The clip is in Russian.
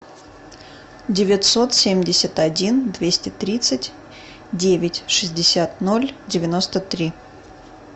девятьсот семьдесят один двести тридцать девять шестьдесят ноль девяносто три